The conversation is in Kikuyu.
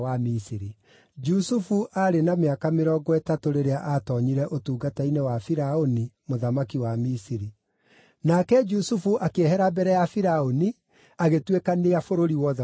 Jusufu aarĩ na mĩaka mĩrongo ĩtatũ rĩrĩa atoonyire ũtungata-inĩ wa Firaũni mũthamaki wa Misiri. Nake Jusufu akĩehera mbere ya Firaũni, agĩtuĩkania bũrũri wothe wa Misiri.